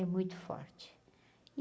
É muito forte.